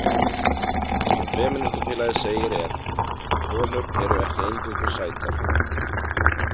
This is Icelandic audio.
Það sem femínistafélagið segir er: Konur eru ekki eingöngu sætar.